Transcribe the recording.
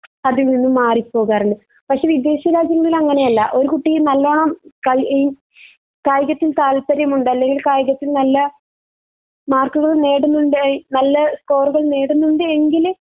അതിൽ നിന്നും മാറി പോകാറുണ്ട് പക്ഷേ വിദേശ രാജ്യങ്ങൾ അങ്ങനെയല്ല ഒരു കുട്ടി നല്ലോണം കളീ കായികത്തിൽ താല്പര്യമുണ്ട് അല്ലെങ്കിൽ കായികത്തിൽ നല്ല മാർക്കുകൾ നേടുന്നുണ്ട് നല്ല സ്‌കോറുകൾ നേടുന്നുണ്ട് എങ്കിൽ